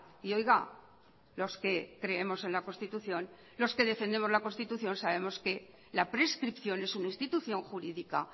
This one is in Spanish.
y oiga los que creemos en la constitución los que defendemos la constitución sabemos que la prescripción es una institución jurídica